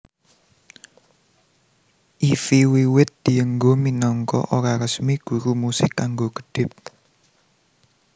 Ify wiwit dienggo minangka ora resmi guru musik kanggo kedhip